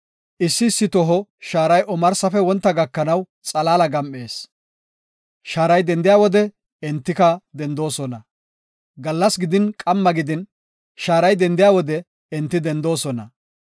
Issi issi toho shaaray omarsafe wontana gakanaw xalaala gam7ees; shaaray dendiya wode enti dendoosona. Gallas gidin, qamma gidin, shaaray dendiya wode enti dendoosona.